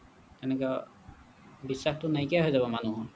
এনেকৈ বিশ্বাসটো নাইকিয়া হৈ যাব মানুহৰ